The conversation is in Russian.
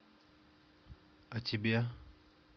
а тебе